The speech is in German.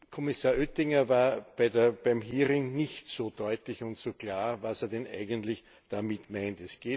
Kommissar Oettinger war beim Hearing nicht so deutlich und so klar, was er denn eigentlich damit meint.